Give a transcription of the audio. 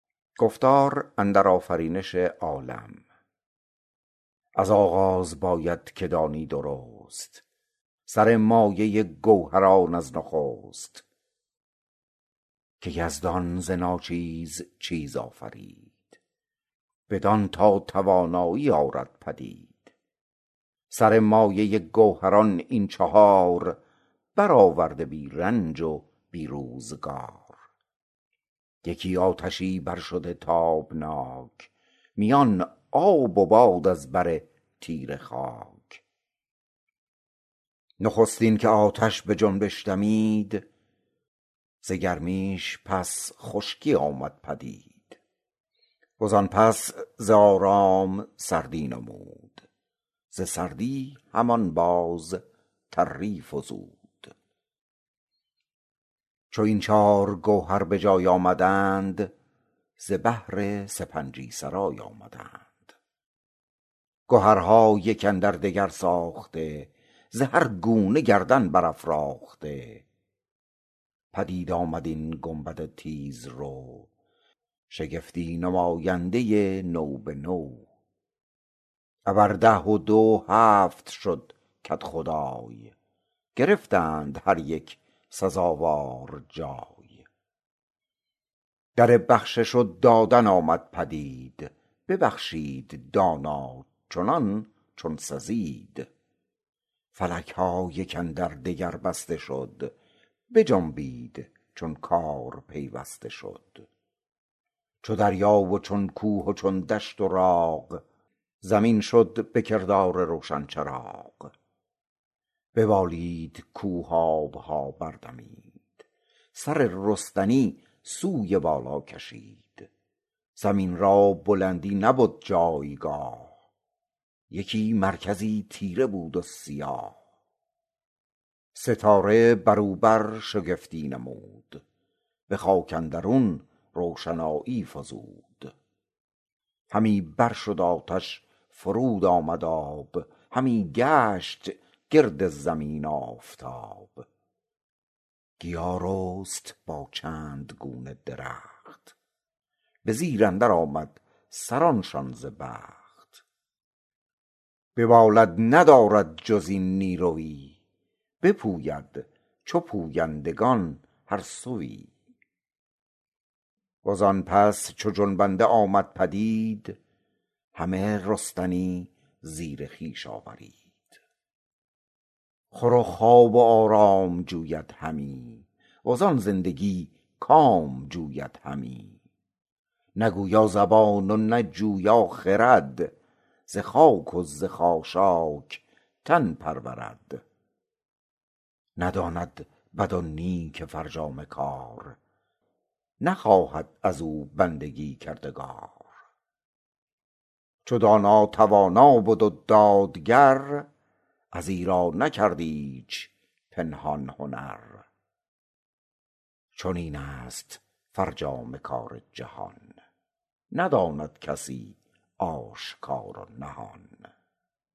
از آغاز باید که دانی درست سر مایه گوهران از نخست که یزدان ز ناچیز چیز آفرید بدان تا توانایی آرد پدید سر مایه گوهران این چهار برآورده بی رنج و بی روزگار یکی آتشی بر شده تابناک میان آب و باد از بر تیره خاک نخستین که آتش به جنبش دمید ز گرمیش پس خشکی آمد پدید و زان پس ز آرام سردی نمود ز سردی همان باز تری فزود چو این چار گوهر به جای آمدند ز بهر سپنجی سرای آمدند گهرها یک اندر دگر ساخته ز هر گونه گردن برافراخته پدید آمد این گنبد تیز رو شگفتی نماینده نو به نو ابر ده و دو هفت شد کدخدای گرفتند هر یک سزاوار جای در بخشش و دادن آمد پدید ببخشید دانا چنان چون سزید فلک ها یک اندر دگر بسته شد بجنبید چون کار پیوسته شد چو دریا و چون کوه و چون دشت و راغ زمین شد به کردار روشن چراغ ببالید کوه آب ها بر دمید سر رستنی سوی بالا کشید زمین را بلندی نبد جایگاه یکی مرکزی تیره بود و سیاه ستاره بر او برشگفتی نمود به خاک اندرون روشنایی فزود همی بر شد آتش فرود آمد آب همی گشت گرد زمین آفتاب گیا رست با چند گونه درخت به زیر اندر آمد سران شان ز بخت ببالد ندارد جز این نیرویی نپوید چو پویندگان هر سویی و زان پس چو جنبنده آمد پدید همه رستنی زیر خویش آورید خور و خواب و آرام جوید همی و زان زندگی کام جوید همی نه گویا زبان و نه جویا خرد ز خاک و ز خاشاک تن پرورد نداند بد و نیک فرجام کار نخواهد از او بندگی کردگار چو دانا توانا بد و دادگر از ایرا نکرد ایچ پنهان هنر چنین است فرجام کار جهان نداند کسی آشکار و نهان